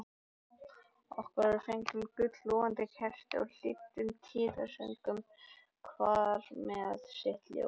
Okkur voru fengin gul logandi kerti og hlýddum tíðasöngnum hver með sitt ljós.